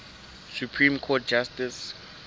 supreme court justice